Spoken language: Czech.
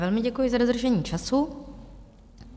Velmi děkuji za dodržení času.